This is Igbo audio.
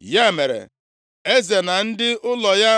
Ya mere, eze na ndị ụlọ ya